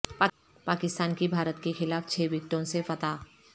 پاکستان کی بھارت کے خلاف چھ وکٹوں سے فتح